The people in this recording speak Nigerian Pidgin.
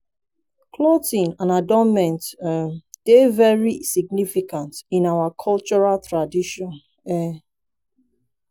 clothing and adornment um dey very significance in our cultural traditions. um